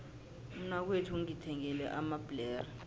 umnakwethu ungithengele amabhlere